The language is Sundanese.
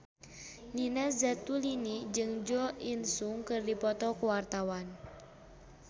Nina Zatulini jeung Jo In Sung keur dipoto ku wartawan